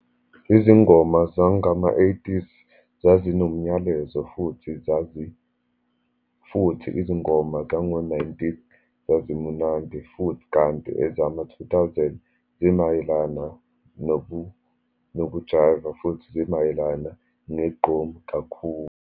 Izingoma zangama-eighties zazi nomnyalezo, futhi zazi, futhi izingoma zango-nineties, zazimunandi futhi, kanti ezama-two thousand zimayelana nokujayiva, futhi zimayelana ngegqom kakhulu.